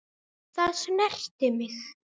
Það snerti mig.